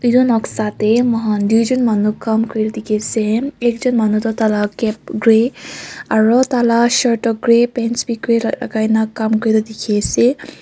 yunok sa teh moi dujon manu kaam kori dekhi ase ekjon tu tar laga cap grey aru tar laga shirt grey pants bhi grey lagai na dekhi ase.